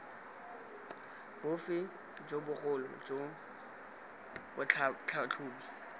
bofe jo bogolo jo batlhatlhobi